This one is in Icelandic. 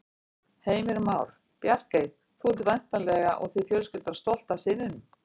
Heimir Már: Bjarkey, þú ert væntanlega og þið fjölskyldan stolt af syninum?